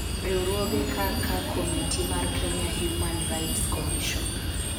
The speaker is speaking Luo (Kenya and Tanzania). Riwruoge kaka Komiti mar Kenya Human Rights Commission (KHRC)